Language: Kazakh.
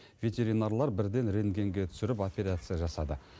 ветеринарлар бірден рентгенге түсіріп операция жасады